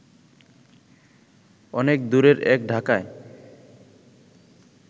অনেক দূরের এক ঢাকায়